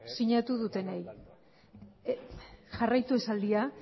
sinatu dutenei jarraitu esaldia